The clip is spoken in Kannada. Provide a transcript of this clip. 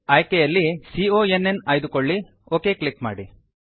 ಆಯ್ಕೆಯಲ್ಲಿ ಕಾನ್ ಆಯ್ದುಕೊಳ್ಳಿ ಒಕ್ ಕ್ಲಿಕ್ ಮಾಡಿ